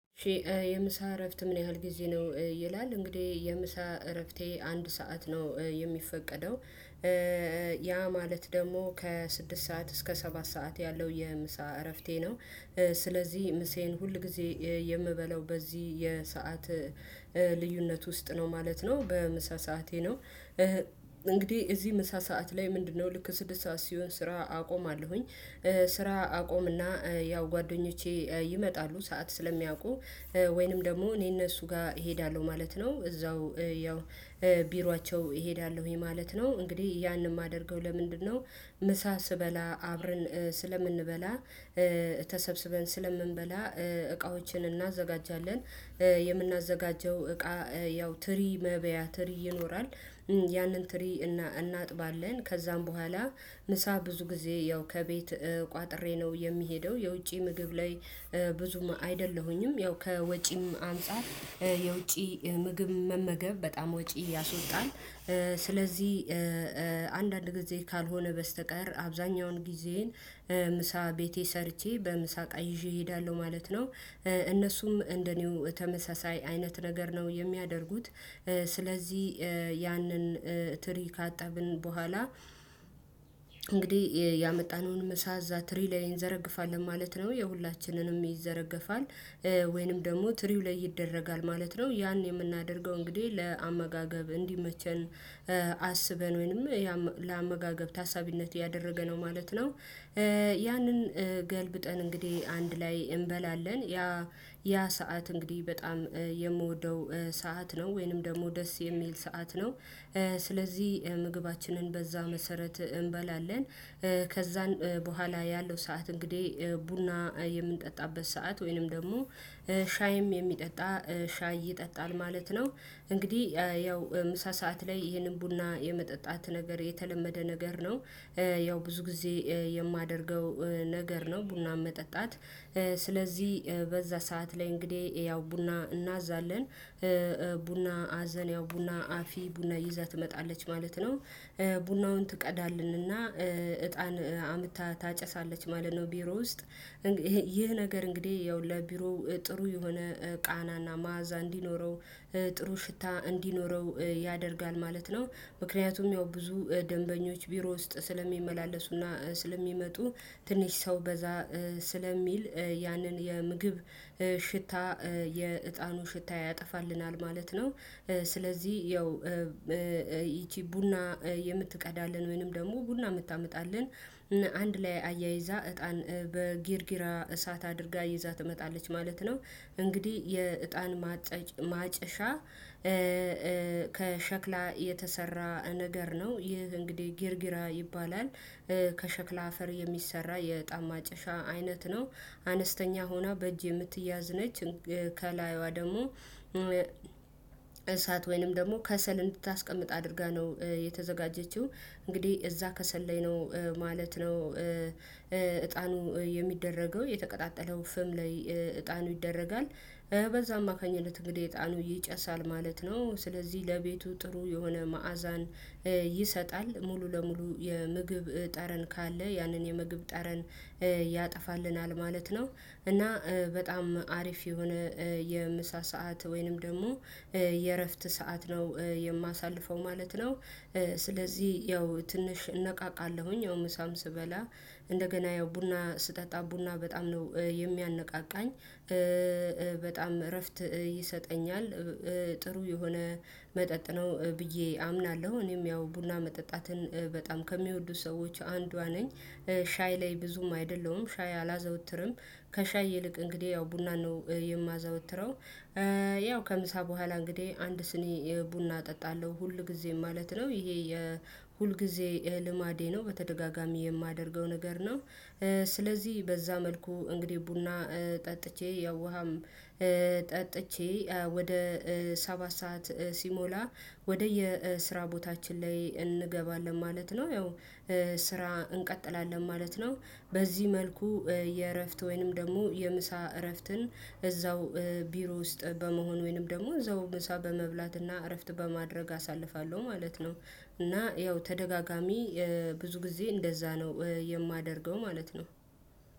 እሽ የምሳ እረፍት ምን ያህል ጊዜ ነው? ይላል እንግዲህ የምሳ እረፍቴ አንድ ሰዓት ነው የሚፈቀደው። ያ ማለት ደግሞ ከስድስት ሰዓት እስከ ሰባት ሰዓት ያለው የምሳ እረፍቴ ነው። ስለዚህ ምሳየን ሁል ጊዜ የምበላው በዚህ የሰዓት ልዩነት ውስጥ ነው ማለት ነው በምሳ ሰዓቴ ነው። እንግዲህ እዚህ ምሳ ሰዓት ላይ ምንድነው ልክ ስድስት ሰዓት ሲሆን ስራ አቆማለሁኝ። ስራ አቆምና ያው ጓደኞቼ ይመጣሉ ሰዓት ስለሚያውቁ ወይንም ደግሞ እኔ እነሱ ጋር እሄዳለሁ ማለት ነው። እዛው ያው ቢሯቸው እሄዳለሁ ይሄ ማለት ነው። እንግዲህ ያንን የማደርገው ለምንድነው? ምሳ ስበላ አብረን ስለምንበላ ተሰብስበን ስለምንበላ እቃዎችን እናዘጋጃለን። የምናዘጋጀው እቃ ያው ትሪ መብያ ትሪ ይኖራል። ያንን ትሪ እናጥባለን ከዛም በኋላ ምሳ ብዙ ጊዜ ያው ከቤት ቋጥሬ ነው የሚሄደው የውጪ ምግብ ላይ። ብዙም አይደለሁኝም ያው ከወጪም አንፃር የውጪ ምግብ መመገብ በጣም ወጪ ያስወጣል። ስለዚህ አንዳንድ ጊዜ ካልሆነ በስተቀር አብዛኛውን ጊዜዬን ምሳ ቤቴ ሰርቼ በምሳ እቃ ይዤ እሄዳለሁ ማለት ነው። እነሱም እንደኔው ተመሳሳይ አይነት ነገር ነው የሚያደርጉት። ያንን ትሪ ካጠብን በኋላ እንግዲህ ያመጣነውን ምሳ እዛ ትሪ ላይ ይዘረግፋል ማለት ነው የሁላችንንም ይዘረግፋል። ወይንም ደግሞ ትሪው ላይ ይደረጋል ማለት ነው ያን የምናደርገው እንግዲህ ለአመጋገብ እንዲመቸን። አስበን ወይንም ለአመጋገብ ታሳቢነት ያደረገ ነው ማለት ነው። ያንን ገልብጠን እንግዲህ አንድ ላይ እንበላለን። ያ ሰዓት እንግዲህ በጣም የምወደው ሰዓት ነው ወይንም ደግሞ ደስ የሚል ሰዓት ነው። ስለዚህ ምግባችንን በዛ መሰረት እንበላለን። ከዛን በኋላ ያለው ሰዓት እንግዲህ ቡና የምንጠጣበት ሰዓት ወይንም ደግሞ ሻይም የሚጠጣ ሻይ ይጠጣል ማለት ነው። እንግዲህ ያው ምሳ ሰዓት ላይ ይህንን ቡና የመጠጣት ነገር የተለመደ ነገር ነው። ያው ብዙ ጊዜ የማደርገው ነገር ነው ቡና መጠጣት። ስለዚህ በዛ ሰዓት ላይ እንግዲህ ያው ቡና እናዛለን። ቡና አዘን ያው ቡና አፊ ቡና ይዛ ትመጣለች ማለት ነው። ቡናውን ትቀዳልንና እጣን አምታ ታጨሳለች ማለት ነው። ቢሮ ውስጥ ይህ ነገር እንግዲህ ያው ለቢሮ ጥሩ የሆነ ቃናና መዓዛ እንዲኖረው ጥሩ ሽታ እንዲኖረው ያደርጋል ማለት ነው። ምክንያቱም ያው ብዙ ደንበኞች ቢሮ ውስጥ ስለሚመላለሱና ስለሚመጡ ትንሽ ሰው በዛ ስለሚል ያንን የምግብ ሽታ የእጣኑ ሽታ ያጠፋልናል ማለት ነው። ስለዚህ ያው ይች ቡና የምትቀዳለን ወይንም ደግሞ ቡና የምታመጣለን አንድ ላይ አያይዛ እጣን በጊርጊራ እሳት አድርጋ ይዛ ትመጣለች ማለት ነው። እንግዲህ የእጣን ማጨሻ ከሸክላ የተሰራ ነገር ነው ይህ እንግዲህ ጊርጊራ ይባላል። ከሸክላ አፈር የሚሰራ የዕጣን ማጨሻ አይነት ነው። አነስተኛ ሆና በእጅ የምትያዝ ነች። ከላዩዋ ደግሞ እሳት ወይንም ደግሞ ከሰል እንድታስቀምጥ አድርጋ ነው የተዘጋጀችው እንግዲህ እዛ ከሰል ላይ ነው ማለት ነው። እጣኑ የሚደረገው የተቀጣጠለው ፍም ላይ እጣኑ ይደረጋል በዛ አማካኝት እንግዲህ እጣኑ ይጨሳል ማለት ነው። ስለዚህ ለቤቱ ጥሩ የሆነ መዓዛን ይሰጣል ሙሉ ለሙሉ የምግብ ጠረን ካለ ያንን የምግብ ጠረን ያጠፋልናል ማለት ነው። እና በጣም አሪፍ የሆነ የምሳ ሰዓት ወይንም ደግሞ የእረፍት ሰዓት ነው የማሳልፈው ማለት ነው። ስለዚህ ያው ትንሽ እነቃቃለሁኝ ያው ምሳም ስበላ ያው ቡና ስጠጣ ቡና በጣም ነው የሚያነቃቃኝ። በጣም እረፍት ይሰጠኛል ጥሩ የሆነ መጠጥ ነው ብዬ አምናለሁ እኔም ያው ቡና መጠጣትን በጣም ከሚወዱ ሰዎች አንዷ ነኝ። ሻይ ላይ ብዙም አይደለሁም ሻይ አላዘወትርም ከሻይ ይልቅ እንግዲህ ያው ቡና ነው የማዘወትረው። ያው ከምሳ በኋላ እንግዲህ አንድ ስኒ ቡና እጠጣለሁ ሁል ጊዜ ማለት ነው ይሄ የሁል ጊዜ ልማዴ ነው በተደጋጋሚ የማደርገው ነገር ነው። ስለዚህ በዛ መልኩ እንግዲህ ቡና ጠጥቼ ያው ውሃም ጠጥቼ ወደ ሰባት ሰዓት ሲሞላ ወደየ ስራ ቦታችን ላይ እንገባለን ማለት ነው። ያው ስራ እንቀጥላለን ማለት ነው። በዚህ መልኩ የእረፍት ወይንም ደግሞ የምሳ እረፍትን እዛው ቢሮ ውስጥ በመሆን ወይንም ደግሞ እዛው ምሳ በመብላት እና እረፍት በማድረግ አሳልፋለሁ ማለት ነው። እና ያው ተደጋጋሚ ብዙ ጊዜ እንደዛ ነው የማደርገው ማለት ነው።